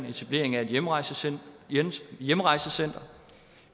etablerer et hjemrejsecenter hjemrejsecenter